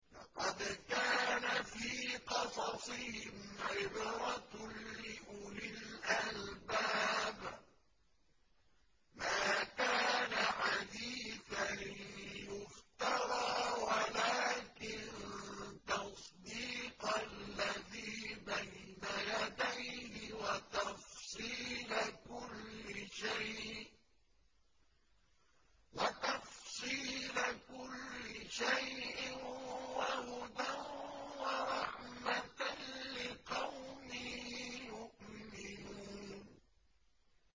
لَقَدْ كَانَ فِي قَصَصِهِمْ عِبْرَةٌ لِّأُولِي الْأَلْبَابِ ۗ مَا كَانَ حَدِيثًا يُفْتَرَىٰ وَلَٰكِن تَصْدِيقَ الَّذِي بَيْنَ يَدَيْهِ وَتَفْصِيلَ كُلِّ شَيْءٍ وَهُدًى وَرَحْمَةً لِّقَوْمٍ يُؤْمِنُونَ